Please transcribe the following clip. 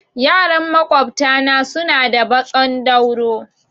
Yaran maƙwabta na suna da baƙon dauro